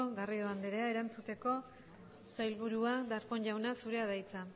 garrido anderea erantzuteko sailburua darpón jauna zurea da hitza